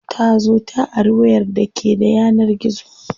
Ta zo ta ari wayar da ke da yanar gizo.